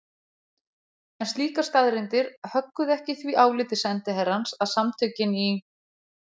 En slíkar staðreyndir högguðu ekki því áliti sendiherrans að Samtökin í